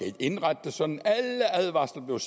ikke indrette det sådan alle advarsler blev